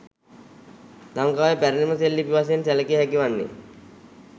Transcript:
ලංකාවේ පැරණිම සෙල් ලිපි වශයෙන් සැළකිය හැකි වන්නේ